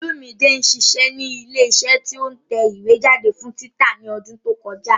Olúmide ṣiṣẹ́ ní ilé iṣẹ́ tí ó ń tẹ ìwé jáde fún títa ní ọdún tí ó kọjá